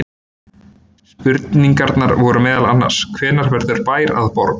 Spurningarnar eru meðal annars: Hvenær verður bær að borg?